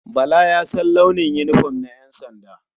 Bala ya san launin yinifom na ƴansanda.